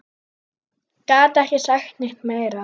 Gat ekki sagt neitt meira.